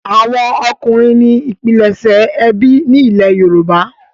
àwọn ọkunrin ní pilẹṣẹ ẹbí ní ilè yorùbá.